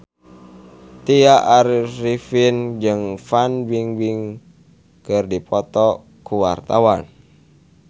Tya Arifin jeung Fan Bingbing keur dipoto ku wartawan